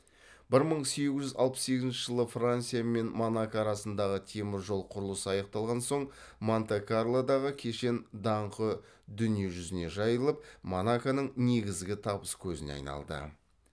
бір мың сегіз жүз алпыс сегізінші жылы франция мен монако арасындағы темір жол құрылысы аяқталған соң монте карлодағы кешен даңқы дүние жүзіне жайылып монаконың негізгі табыс көзіне айналды